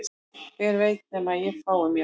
Hver veit nema að ég fái mér